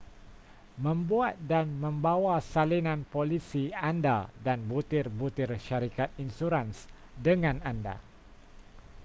membuat dan membawa salinan polisi anda dan butir-butir syarikat insurans dengan anda